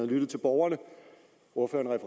lyttet til borgerne og ordføreren